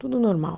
Tudo normal.